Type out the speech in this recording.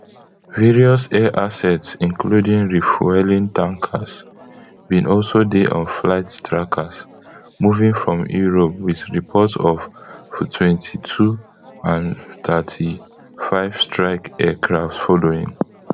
various air assets including refuelling tankers bin also dey on flight trackers moving from europe with reports of ftwenty-two and fthirty-five strike aircraft following